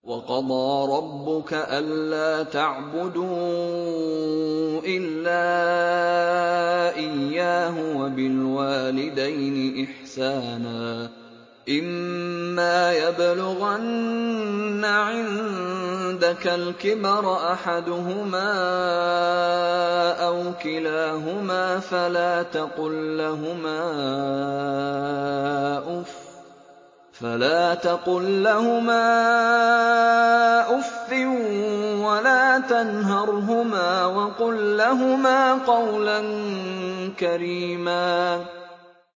۞ وَقَضَىٰ رَبُّكَ أَلَّا تَعْبُدُوا إِلَّا إِيَّاهُ وَبِالْوَالِدَيْنِ إِحْسَانًا ۚ إِمَّا يَبْلُغَنَّ عِندَكَ الْكِبَرَ أَحَدُهُمَا أَوْ كِلَاهُمَا فَلَا تَقُل لَّهُمَا أُفٍّ وَلَا تَنْهَرْهُمَا وَقُل لَّهُمَا قَوْلًا كَرِيمًا